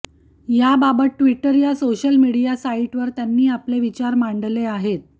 याबाबत ट्विटर या social media साईटवर त्यांनी आपले विचार मांडले आहेत